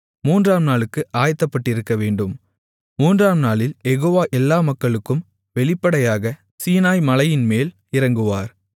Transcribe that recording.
மூன்றாம் நாளுக்கு ஆயத்தப்பட்டிருக்கவேண்டும் மூன்றாம் நாளில் யெகோவா எல்லா மக்களுக்கும் வெளிப்படையாக சீனாய் மலையின்மேல் இறங்குவார்